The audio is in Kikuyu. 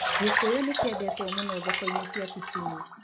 Gĩkũyũ nĩ kĩendetwo mũno thoko-inĩ cia Kisumu.